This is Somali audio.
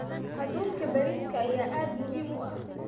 Hadhuudhka bariiska ayaa aad muhiim u ah.